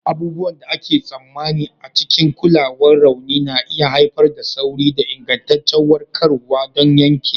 Abubuwan da ake tsammani a cikin kulawar rauni na iya haifar da sauri da ingantaccen warkarwa don yanke.